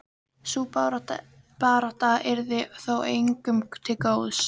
Sú barátta yrði þó engum til góðs.